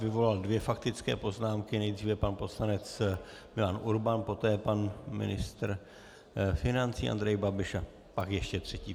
Vyvolal dvě faktické poznámky, nejdříve pan poslanec Milan Urban, poté pan ministr financí Andrej Babiš a pak ještě třetí.